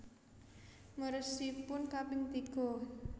Meresipun kaping tiga